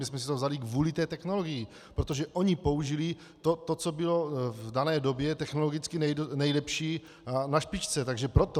My jsme si to vzali kvůli té technologii, protože oni použili to, co bylo v dané době technologicky nejlepší a na špičce, takže proto.